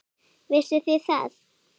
Vissuð þið það?